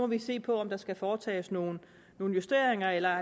vi se på om der skal foretages nogle nogle justeringer eller